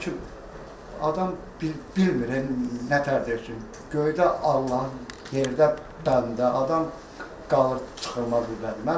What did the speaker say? Hakim adam bilmir nətər deyir ki, göydə Allahın yerdə bəndə, adam qalır çıxılmaz qüvvədə.